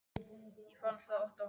Ég fann það oft á honum.